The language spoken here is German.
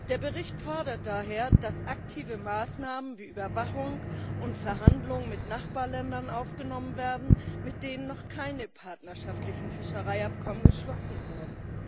Der Bericht fordert daher, dass aktive Maßnahmen, wie Überwachung, und Verhandlungen mit Nachbarländern aufgenommen werden, mit den noch keine partnerschaftlichen Fischereiabkommen geschlossen wurden.